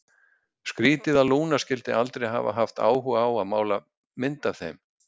Skrítið að Lúna skyldi aldrei hafa haft áhuga á að mála mynd af þeim.